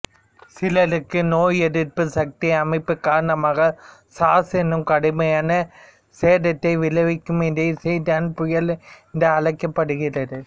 சிலருக்கு நோய் எதிர்ப்பு சக்தி அமைப்பு காரணமாக சார்ஸ் இன்னும் கடுமையான சேதத்தை விளைவிக்கும்இதை சைடோகின் புயல் என்று அழைக்கப்படுகிறது